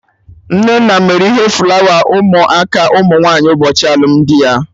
Nnenna mere ihe flawa ụmụ aka ụmụ nwaanyị ụbọchị alụmdi ya